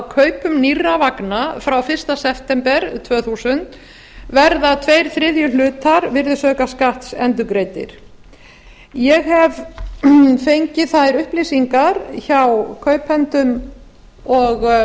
kaupum nýrra vegna frá einum september tvö þúsund verða tveir þriðju hlutar virðisaukaskatts endurgreiddir ég hef fengið þær upplýsingar hjá kaupendum og